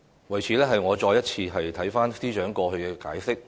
為此，我再次審視司長過去的解釋。